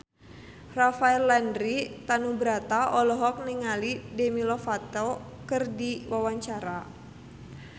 Rafael Landry Tanubrata olohok ningali Demi Lovato keur diwawancara